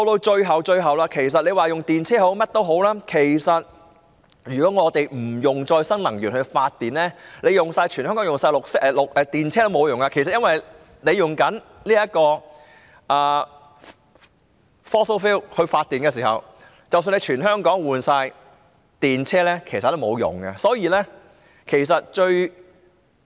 最後，其實不論用電動車也好，甚麼也好，但如果我們不採用可再生能源來發電，即使全香港使用電動車也沒用，因為如果香港利用 fossil fuel 發電，即使全港的汽車更換為電動車也沒用。